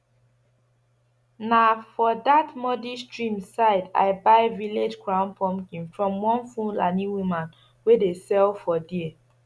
na for dat muddy stream side i buy village crown pumpkin from one fulani woman wey dey sell for there